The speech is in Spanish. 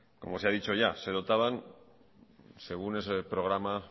como se ha dicho ya se dotaban según ese programa